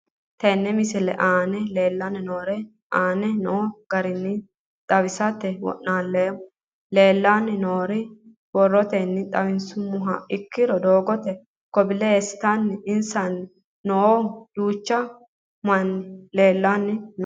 Tene misile aana leelanni nooerre aane noo garinni xawisate wonaaleemmo. Leelanni nooerre borrotenni xawisummoha ikkiro doogote coble stone eesanni noohu duuchu manni leelanni nooe.